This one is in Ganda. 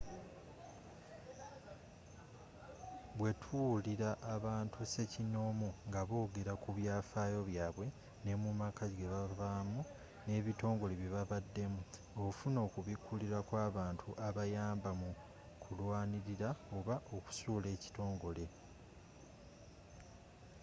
bwe tuwuliriza abantu ssekinoomu nga boogera ku byafaayo byabwe ne mu maka ge bavaamu n'ebitongole bye babaddemu ofuna okubikulirwa kw'abantu abayamba mu kulwanirira oba okusuula ekitongole